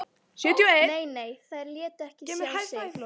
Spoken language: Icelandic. Nei, nei, þeir létu ekki sjá sig